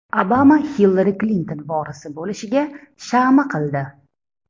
Obama Hillari Klinton vorisi bo‘lishiga shama qildi.